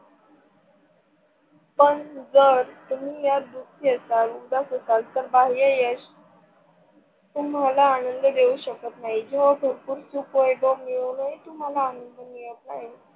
पण जर तुम्ही दुखी असाल उदास असाल तर बाह्य यश तुम्हाला आनंद देऊ शकत नाही. जेव्हा भरपूर सुख, वैभव मिळूनही तुम्हाला आनंद मिळत नाही,